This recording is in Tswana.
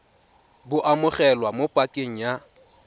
bo amogelwa mo pakeng ya